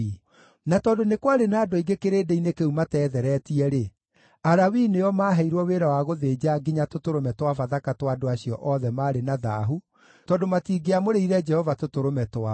Na tondũ nĩ kwarĩ na andũ aingĩ kĩrĩndĩ-inĩ kĩu mateetheretie-rĩ, Alawii nĩo maaheirwo wĩra wa gũthĩnja nginya tũtũrũme twa Bathaka twa andũ acio othe maarĩ na thaahu, tondũ matingĩamũrĩire Jehova tũtũrũme twao.